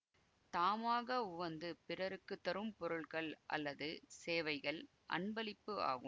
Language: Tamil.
தாமாக உவந்து பிறருக்கு தரும் பொருட்கள் அல்லது சேவைகள் அன்பளிப்பு ஆகும்